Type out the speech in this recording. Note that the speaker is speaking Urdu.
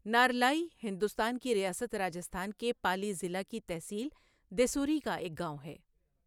نارلائی ہندوستان کی ریاست راجستھان کے پالی ضلع کی تحصیل دیسوری کا ایک گاؤں ہے۔